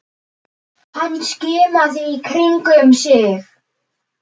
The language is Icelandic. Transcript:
Hann skimaði í kringum sig.